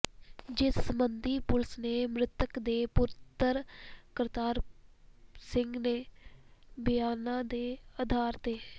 ਜਿਸ ਸਬੰਧੀ ਪੁਲਿਸ ਨੇ ਮ੍ਰਿਤਕ ਦੇ ਪੁੱਤਰ ਕਪਤਾਨ ਸਿੰਘ ਦੇ ਬਿਆਨਾ ਦੇ ਅਧਾਰ ਤੇ